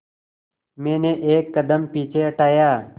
मैंने एक कदम पीछे हटाया